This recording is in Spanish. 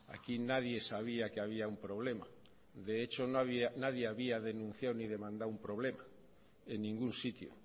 aquí nadie sabía que había un problema de hecho nadie había denunciado ni demandado un problema en ningún sitio